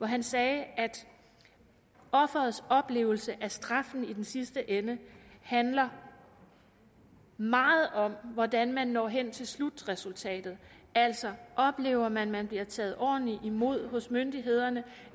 han sagde at offerets oplevelse af straffen i den sidste ende handler meget om hvordan man når hen til slutresultatet altså oplever man at man bliver taget ordentligt imod hos myndighederne